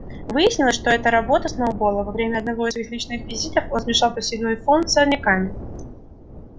выяснилось что это работа сноуболла во время одного из своих ночных визитов он смешал посевной фонд с сорняками